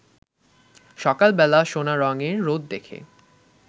সকালবেলা সোনারঙের রোদ দেখে